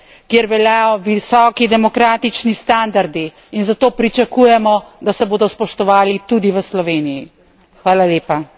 Slovenija je del Evropske unije, kjer veljajo visoki demokratični standardi in zato pričakujemo, da se bodo spoštovali tudi v Sloveniji.